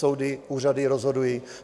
Soudy, úřady rozhodují.